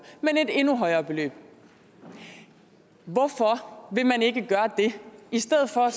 men et endnu højere beløb hvorfor vil man ikke gøre det i stedet for